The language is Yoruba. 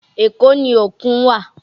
Èkó ni òkun wà